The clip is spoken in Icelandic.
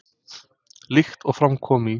Líkt og fram kom í